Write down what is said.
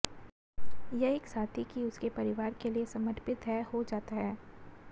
यह एक साथी कि उसके परिवार के लिए समर्पित है हो जाता है